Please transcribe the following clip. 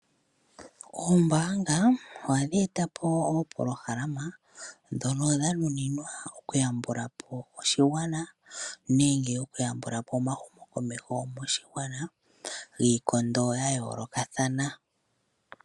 Oombaanga ohadhi eta po oopolohalama ndhono dha nuninwa okuyambula po oshigwana nenge okuyambula po omahumokomeho moshigwana giikondo ya yoolokathana.